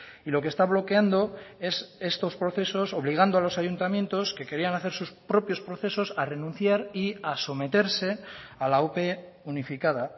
y lo que está bloqueando es estos procesos obligando a los ayuntamientos que querían hacer sus propios procesos a renunciar y a someterse a la ope unificada